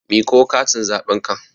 Miƙo katin zaɓen ka!